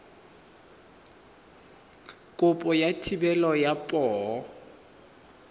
kopo ya thebolo ya poo